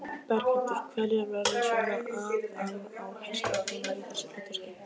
Berghildur: Hverjar verða svona aðaláherslur þínar í þessu hlutverki?